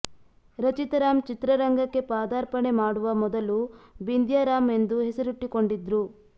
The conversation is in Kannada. ರಚಿತಾ ರಾಮ್ ಚಿತ್ರರಂಗಕ್ಕೆ ಪದಾರ್ಪಣೆ ಮಾಡುವ ಮೊದಲು ಬಿಂದ್ಯಾ ರಾಮ್ ಎಂದು ಹೆಸರಿಟ್ಟಿಕೊಂಡಿದ್ರು